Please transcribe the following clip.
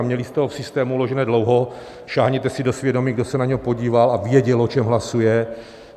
A měli jste ho v systému uložené dlouho, sáhněte si do svědomí, kdo se na něj podíval a věděl, o čem hlasuje.